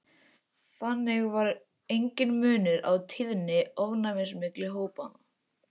Þannig var enginn munur á tíðni ofnæmis milli hópanna.